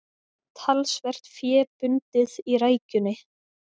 Talsvert fé bundið í rækjunni